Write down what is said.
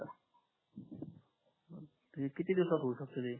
किती दिवसात होऊ शकते ते